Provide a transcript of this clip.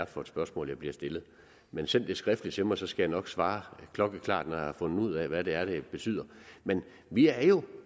er for et spørgsmål jeg bliver stillet men send det skriftligt til mig så skal jeg nok svare klokkeklart når jeg har fundet ud af hvad det er det betyder men vi er jo